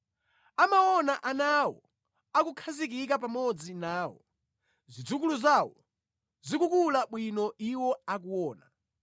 Amaona ana awo akukhazikika pamodzi nawo, zidzukulu zawo zikukula bwino iwo akuona.